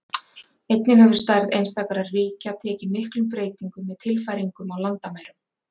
Einnig hefur stærð einstakra ríkja tekið miklum breytingum með tilfæringum á landamærum.